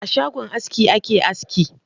A sgagon aski ake aski.